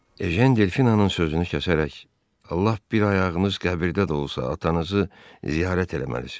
Ejən Delfini onun sözünü kəsərək, lap bir ayağınız qəbirdə də olsa, atanızı ziyarət eləməlisiz.